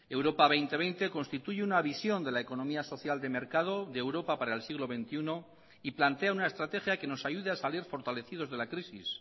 europa dos mil veinte constituye una visión de la economía social de mercado de europa para el siglo veintiuno y plantea una estrategia que nos ayude a salir fortalecidos de la crisis